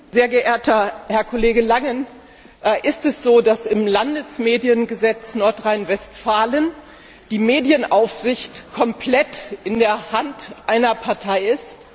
Frau Präsidentin! Sehr geehrter Herr Kollege Langen! Ist es so, dass im Landesmediengesetz Nordrhein Westfalen die Medienaufsicht komplett in der Hand einer Partei ist?